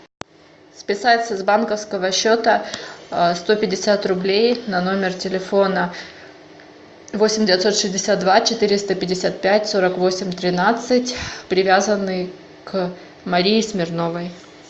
списать с банковского счета сто пятьдесят рублей на номер телефона восемь девятьсот шестьдесят два четыреста пятьдесят пять сорок восемь тринадцать привязанный к марии смирновой